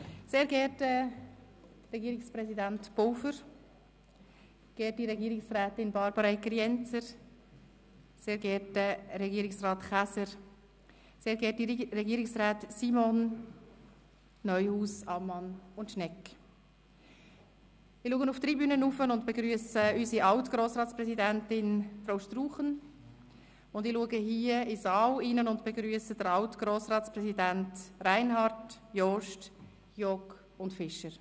Sehr geehrter Regierungspräsident Pulver, sehr geehrte Regierungsrätin Egger-Jenzer, sehr geehrter Regierungsrat Käser, sehr geehrte Regierungsrätin Simon, sehr geehrte Regierungsräte Neuhaus, Amman und Schnegg, ich blicke zur Tribüne hinauf und begrüsse unsere alt Grossratspräsidentin Struchen, ich blicke in den Saal und begrüsse die alt Grossratspräsidenten Reinhard, Jost, Giauque und Fischer.